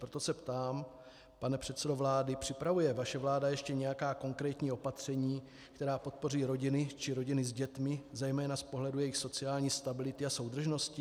Proto se ptám, pane předsedo vlády: připravuje vaše vláda ještě nějaká konkrétní opatření, která podpoří rodiny či rodiny s dětmi zejména z pohledu jejich sociální stability a soudržnosti?